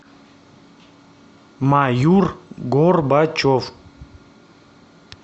маюр горбачев